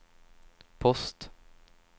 post